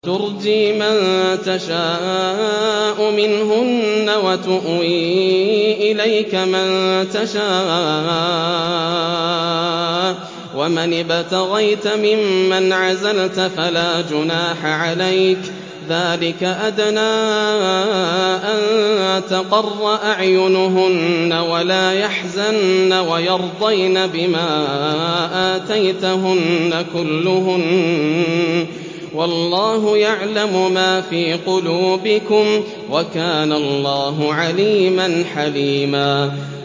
۞ تُرْجِي مَن تَشَاءُ مِنْهُنَّ وَتُؤْوِي إِلَيْكَ مَن تَشَاءُ ۖ وَمَنِ ابْتَغَيْتَ مِمَّنْ عَزَلْتَ فَلَا جُنَاحَ عَلَيْكَ ۚ ذَٰلِكَ أَدْنَىٰ أَن تَقَرَّ أَعْيُنُهُنَّ وَلَا يَحْزَنَّ وَيَرْضَيْنَ بِمَا آتَيْتَهُنَّ كُلُّهُنَّ ۚ وَاللَّهُ يَعْلَمُ مَا فِي قُلُوبِكُمْ ۚ وَكَانَ اللَّهُ عَلِيمًا حَلِيمًا